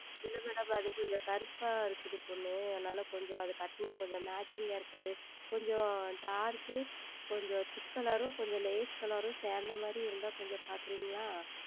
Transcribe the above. இல்லை Madam அது கொஞ்சம் கருப்பாக உள்ளது பெண் அதுனால் கொஞ்சம் அது உடுத்தினால் கொஞ்சம் Matching இருக்காது கொஞ்சம் Dark உம் கொஞ்சம் Thick Color உம் லேசான Color உம் சேர்ந்த மாதிரி இருந்தால் கொஞ்சம் பார்க்கிறீர்களா